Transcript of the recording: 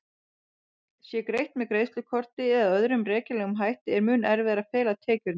Sé greitt með greiðslukorti eða öðrum rekjanlegum hætti er mun erfiðara að fela tekjurnar.